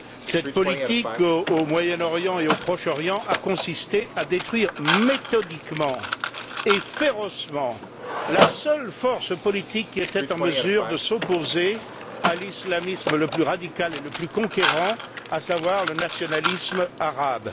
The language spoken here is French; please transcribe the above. Cette politique au Moyen Orient et au Proche Orient a consisté à détruire méthodiquement et férocement la seule force politique qui était en mesure de s'opposer à l'islamisme le plus radical et le plus conquérant, à savoir le nationalisme arabe.